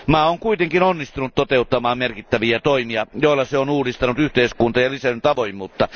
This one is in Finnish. Maa on kuitenkin onnistunut toteuttamaan merkittäviä toimia, joilla se on uudistanut yhteiskuntaa ja lisännyt avoimuutta.